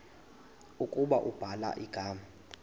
ukuba ubhala igama